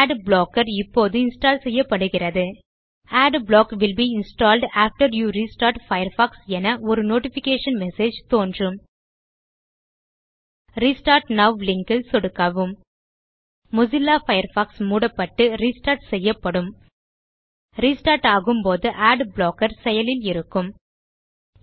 at blocker இப்போது install செய்யப்படுகிறது adblock will be installed after you restart Firefox என ஒரு நோட்டிஃபிகேஷன் மெசேஜ் தோன்றும் ரெஸ்டார்ட் நோவ் லிங்க் ல் சொடுக்கவும் மொசில்லா பயர்ஃபாக்ஸ் மூடப்பட்டு ரெஸ்டார்ட் செய்யப்படும் ரெஸ்டார்ட் ஆகும் போது அட் ப்ளாக்கர் செயலில் இருக்கும்